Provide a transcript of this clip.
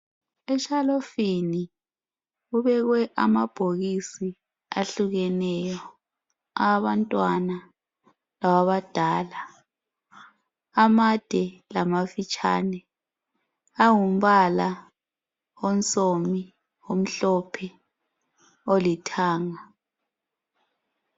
Eshelufini kubekwe amabhokisi ahlukeneyo, awabantwana lawabadala, amade lamafitshane. Angumbala onsomi, omhlophe, olithanga.